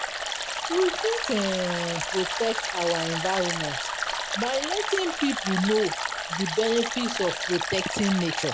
We fit um protect our environment by letting pipo know di benefits of protecting nature